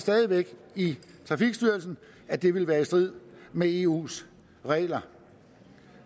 stadig væk i trafikstyrelsen at det ville være i strid med eus regler